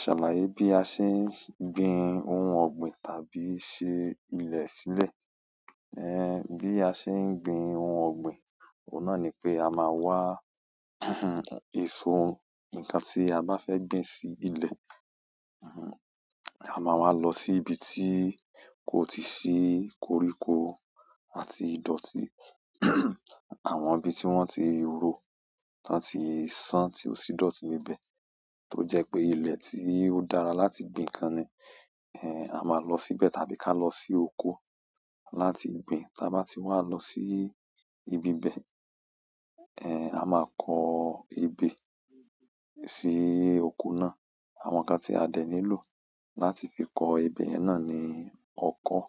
Ṣàlàyé bí a ṣe ń gbin ohun ọ̀gbìn tàbí ṣe ilẹ̀ sílẹ̀. Ẹ̀hẹ̀n, bí a ṣe ń gbin ohun ọ̀gbìn, òun náà ni pé a máa wa ẹ̀so, nǹkan tí a bá fẹ́ gbìn sí ilẹ̀. Ama wa lo si ibi ti ko ti si koriko àti idoti. Àwọn ibi tí wọ́n ti ro, tán tí san, tí ó sì dọ̀tí níbẹ̀. Tó jẹ́ pé ilẹ̀ tí ó dára láti gbin ǹkan ni a máa lọ síbẹ̀ tàbí ká lọ sí oko láti gbin. Tí a bá ti wá lọ sí ibi ibẹ̀ a máa kọ ebè sí oko náà. Àwọn ǹkan tí a dẹ̀ nílò láti fi kọ ebè yẹn náà ni ọkọ́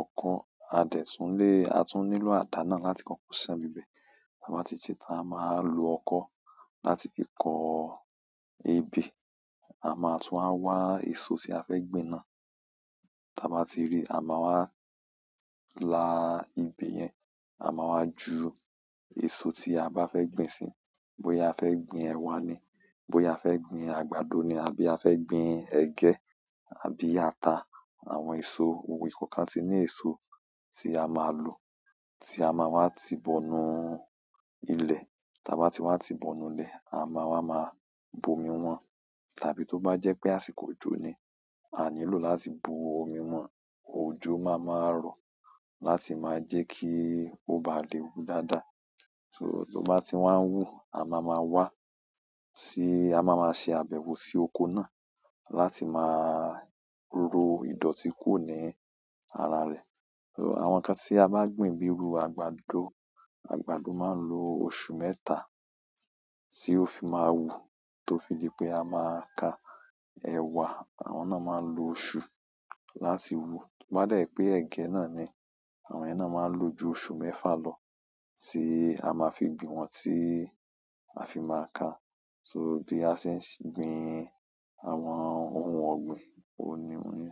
ọkọ́, a de tún lè, à tún nílò àdá náà láti kọ́kọ́ ṣán bibẹ̀. Tí a bá ti ṣe tán, a máa lo ọkọ́ láti fi kọ ebè. A ma tun wa wa eso ti afe gbin náà. Ta bá ti ri, a máa wá la ibẹ̀ yẹn, a máa wá ju èso tí a bá fẹ́ gbìn síi. Bóyá a fẹ́ gbìn ẹwà ni, bóyá a fẹ́ gbìn àgbàdo ni àbí a fẹ́ gbìn ẹ̀gẹ́ àbí ata. Àwọn èso, ohun ìkọ́kan tí ní èso tí a máa lò, tí a máa wá ti bọ̀ nù ilẹ̀. Tí a bá ti wá ti bọ̀ nù ilẹ̀, a máa wá máa bu ọmi wọ́n. Tàbí to ba je pe àsìkò ojo ni, a ni lo láti bu omi won. Òjò máa máa rọ̀ láti máa jẹ́ kí ó bá lè wù dáadáa. So tó bá ti wá ń wù, a máa má wá sí, a máa má ṣe àbẹ̀wò sí oko náà láti máa ro ìdọ̀tí kùro ní ara rẹ̀. Àwọn nkan ti aba gbin bi iru àgbàdo, àgbàdo ma n lo oṣù mẹ́ta, ti o fi ma wu. Àwọn náà máa ń lo oṣù láti wù. To bá dẹ́ pé ẹ̀gẹ́ náà ni, àwọn yẹ̀n náà máa ń lo ju oṣù mẹ́fa lọ tí a máa fi gbìn wọn tí a fi máa ka. So bí a ṣe ń gbin àwọn ohun ọ̀gbìn, òun ni.